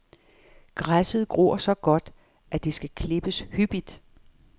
Græsset gror så godt, at det skal klippes hyppigt.